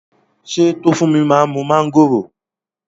Ṣé Tófúnmi má ń mu mángòrò?